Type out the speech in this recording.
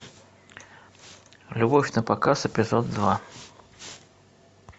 любовь на показ эпизод два